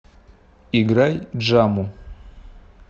играй джаму